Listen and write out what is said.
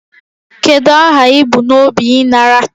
Kedu aha ị bu n'obi ịnara